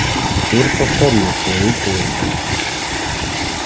стюарт повторил свою просьбу